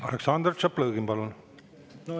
Aleksandr Tšaplõgin, palun!